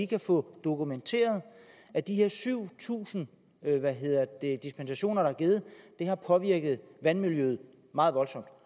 kan få dokumenteret at de her syv tusind dispensationer der er givet har påvirket vandmiljøet meget voldsomt